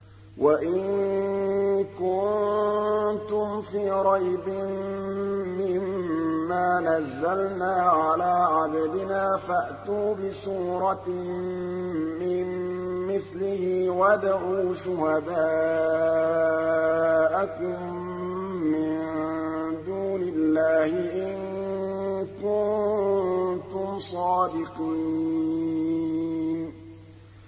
وَإِن كُنتُمْ فِي رَيْبٍ مِّمَّا نَزَّلْنَا عَلَىٰ عَبْدِنَا فَأْتُوا بِسُورَةٍ مِّن مِّثْلِهِ وَادْعُوا شُهَدَاءَكُم مِّن دُونِ اللَّهِ إِن كُنتُمْ صَادِقِينَ